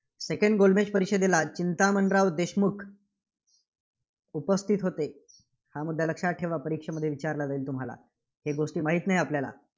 Second गोलमेज परिषदेला चिंतामणराव देशमुख उपस्थितीत होते. हा मुद्दा लक्षात ठेवा. परीक्षेमध्ये विचारला जाईल तुम्हाला. हे गोष्टी माहित नाही आपल्याला.